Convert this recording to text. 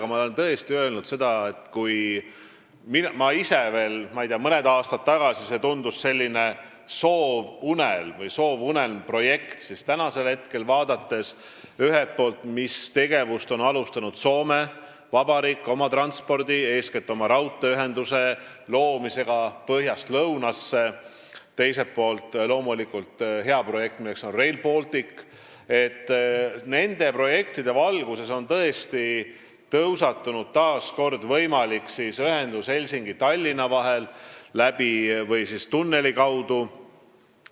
Aga ma olen tõesti öelnud, et kui veel mõned aastad tagasi tundus see soovunelma või soovunelmprojektina, siis täna, vaadates ühelt poolt, mis tegevust on alustanud Soome Vabariik oma transpordisüsteemi arendamisel, eeskätt pean silmas raudteeühenduse loomist põhja ja lõuna vahel, teiselt poolt vaadates seda head projekti, milleks on Rail Baltic, siis nende valguses on tõesti tõusetunud taas kord võimalik ühendus Helsingi ja Tallinna vahel tunneli kaudu.